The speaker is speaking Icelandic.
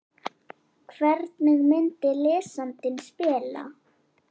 Hvernig myndi lesandinn spila?